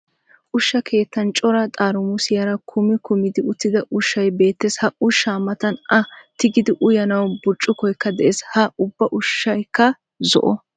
Ushsha keettan cora xaaramusiyara kumi kumidi uttida ushshay beettees. Ha ushshaa matan a tigidi uyanawu burccukoykka de'ees. Ha ubba ushshaykka zo'o.